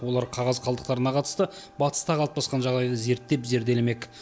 олар қағаз қалдықтарына қатысты батыста қалыптасқан жағдайды зерттеп зерделемек